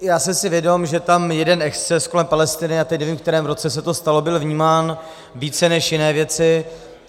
Já jsem si vědom, že tam jeden exces kolem Palestiny, a teď nevím, v kterém roce se to stalo, byl vnímán více než jiné věci.